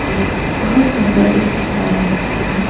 ये बहुत सुंदर एक दीवार है जहां--